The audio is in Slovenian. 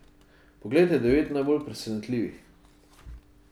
Poglejte devet najbolj presenetljivih.